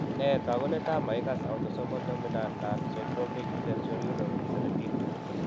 Nee taakunetaab makikass, autosomal dominant nonsyndromic sensorineural 17?